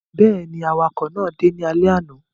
Bẹ́ẹ̀ ni, àwakọ̀ náà dé ní alẹ́ àná.